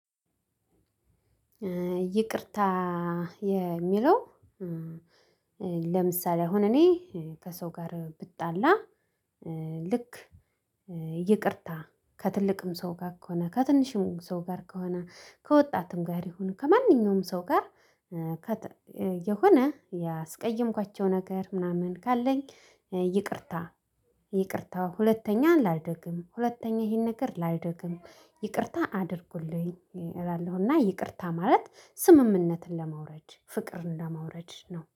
ይቅርታ የምለው። ለምሳሌ አሁን እኔ ከሰው ጋር ብጣላ። ልክ ይቅርታ ከትልቅም ሰው ጋር ከሆነ ከትንሽም ሰው ጋር ከሆነ ከወጣትም ጋር ይሁን ከማንኛውም ሰው ጋር። የሆነ ያስቀየምኳቸው ነገር ምናምን ካለኝ ይቅርታ። ይቅርታ ሁለተኛን ላልደግም ሁለተኛ ይሄን ነገር ላልደግም ይቅርታ አድርጉልኝ። እላለሁና ይቅርታ ማለት ስምምነትን ለማውረድ ፍቅርን ለማውረድ ነው